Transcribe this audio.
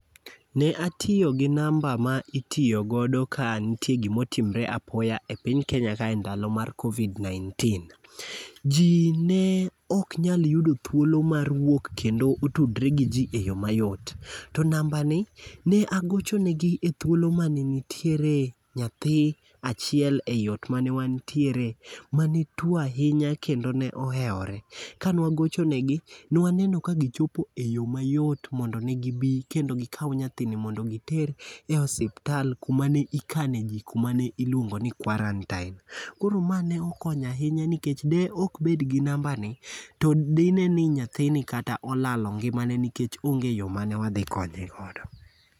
Ne atiyo gi namba ma itiyogodo ka nitie gomotimore apoya e piny Kenya ka e ndalo mar Covid-19. Ji ne ok nyal yudo thuolo mar wuok kendo otudre gi ji e yo mayot. To namba ni ne agochone gi ethuolo mane nitiere nyathi achiel eyo ot mane wantiere mane tuo ahinya kendo ne ohewore. Kane wagocho ne gi, ne waneno ka gichopo e yo mayot mondo ne gi bi kendo gikaw nyathini mondo giter e osiptal kuma ne ikane ji kuma ne iluongo ni quarantine. Kor ma ne okony ahinya nikech de ok bed gi namba ni to di ne ni nyathini kata olalo ngimane nikech onge yo mane wadhi konye godo.